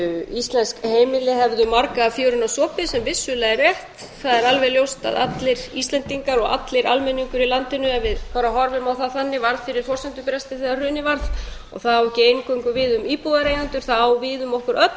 íslensk heimili hefðu marga fjöruna sopið sem vissulega er rétt það er alveg ljóst að allir íslendingar og allur almenningur í landinu ef við bara horfum á það þannig varð fyrir forsendubresti þegar hrunið varð það á ekki eingöngu við um íbúðareigendur það á við um okkur öll